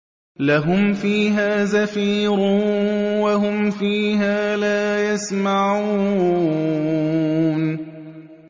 لَهُمْ فِيهَا زَفِيرٌ وَهُمْ فِيهَا لَا يَسْمَعُونَ